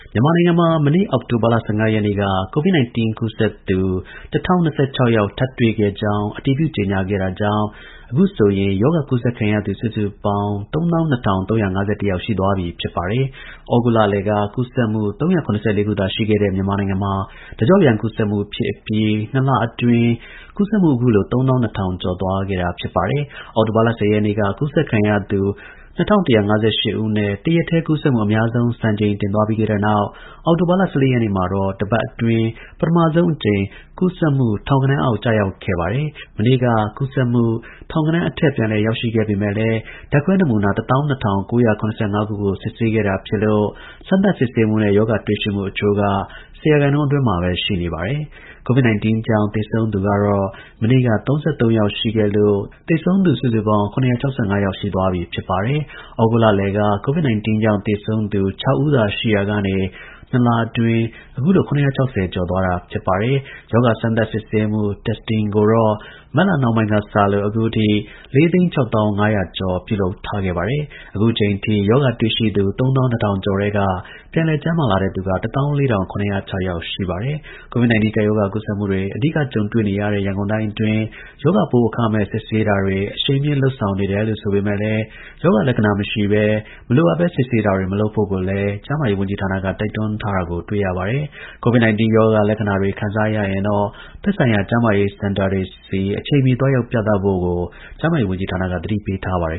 မြန်မာနိုင်ငံမှာ မနေ့ အောက်တိုဘာလ ၁၅ ရက်နေ့က COVID-19 ကူးစက်သူ ၁၀၂၆ ယောက်ထပ်တွေ့ကြောင်း အတည်ပြု ကြေညာခဲ့တာကြောင့် အခုဆိုရင် ရောဂါကူးစက်ခံရသူ စုစုပေါင်း ၃၂,၃၅၁ ယောက်ရှိသွားပြီဖြစ်ပါတယ်။ ဩဂုတ်လလယ်က ကူးစက်မှု ၃၇၄ ခုသာ ရှိခဲ့ တဲ့ မြန်မာနိုင်ငံမှာ တကျော့ပြန် ကူးစက်မှု ဖြစ်အပြီး ၂ လအတွင်း ကူးစက်မှုအခုလို ၃၂,၀၀၀ ကျော်သွားခဲ့တာပါ။ အောက်တိုဘာလ ၁၀ ရက်နေ့မှာ ကူးစက်ခံရသူ ၂၁၅၈ ဦးနဲ့ တရက်တည်းကူးစက်မှု အများဆုံး စံချိန် တင်သွားခဲ့ပြီးတဲ့နောက် အောက်တိုဘာလ ၁၄ ရက်နေ့မှာတော့ တစ်ပတ်အတွင်း ပထမဆုံးအကြိမ် ကူးစက်မှု ထောင်ဂဏန်းအောက် ရောက်ခဲ့ပါတယ်။ မနေ့က ကူးစက်မှု ထောင်ဂဏန်းအထက် ပြန်လည် ရောက်ရှိခဲ့ပေမယ့် ဓါတ်ခွဲ နမူနာ ၁၂,၉၇၅ ခုကို စစ်ဆေးခဲ့တာဖြစ်လို့ စမ်းသပ် စစ်ဆေးမှုနဲ့ ရောဂါ တွေ့ရှိမှု အချိုးက ၁၀ ရာခိုင်နှုန်း အတွင်းမှာ ရှိနေပါတယ်။ COVID-19 ကြောင့် သေဆုံးသူကလည်း မနေ့က ၃၃ ယောက်ရှိခဲ့လို့ သေဆုံးသူ စုစုပေါင်း ၇၆၅ ယောက် ရှိသွားပြီဖြစ်ပါတယ်။ ဩဂုတ်လလယ်က COVID-19 ကြောင့် သေဆုံးသူ ၆ ဦးသာ ရှိနေရာကနေ ၂ လအတွင်း အခုလို ၇၆၀ ကျော်သွားတာ ဖြစ်ပါတယ်။ ရောဂါ စမ်းသပ် စစ်ဆေးမှု testing ကိုတော့ မတ်လ နှောင်းပိုင်းကစလို့ အခုထိ ၄၆၀,၅၀၀ ကျော်ပြုလုပ်ခဲ့ပါတယ်။ အခုအချိန်အထိ ရောဂါတွေ့ရှိသူ ၃၂,၀၀၀ ကျော်ထဲက ပြန်လည်ကျန်းမာလာတဲ့ သူက ၁၄၇၀၆ ယောက်ရှိပါတယ်။ COVID-19 ကပ်ရောဂါ ကူးစက်မှုတွေ အဓိကကြုံနေရတဲ့ရန်ကုန်တိုင်းအတွင်း ရောဂါပိုးအခမဲ့ စစ်ဆေးတာတွေ အရှိန်မြှင့် လုပ် ဆောင်နေတယ်ဆိုပေမယ့်လည်း ရောဂါလက္ခဏာ မရှိဘဲ မလိုအပ်ဘဲစစ်ဆေးတာတွေမလုပ်ဖို့ကိုလည်းကျန်းမာရေးဝန်ကြီးဌာနက တိုက်တွန်းထားတာကို တွေ့ရပါတယ်။ COVID-19 ရောဂါလက္ခဏာတွေ ခံစားရရင်တော့ သက်ဆိုင်ရာ ကျန်းမာရေးစင်တာတွေဆီ အချိန်မီသွားရောက်ပြသဖို့ကို ကျန်းမာရေး ဌာနကသတိပေးထားပါတယ်